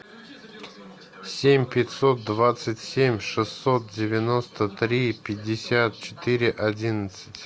семь пятьсот двадцать семь шестьсот девяносто три пятьдесят четыре одиннадцать